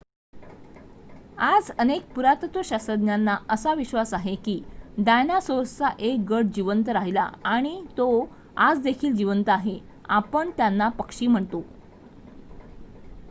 आज अनेक पुरातत्वशास्त्रज्ञांना असा विश्वास आहे की डायनासोर्सचा 1 गट जिवंत राहिला आणि तो आज देखील जिवंत आहे आपण त्यांना पक्षी म्हणतो